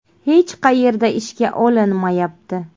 Hech qayerga ishga olinmayapti.